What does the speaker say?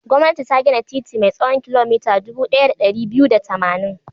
Gwamnati ta gina titi mai tsawon kilomita dubu ɗaya da ɗari biyu da tamanin.